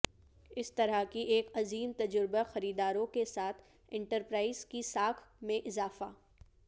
اس طرح کی ایک عظیم تجربہ خریداروں کے ساتھ انٹرپرائز کی ساکھ میں اضافہ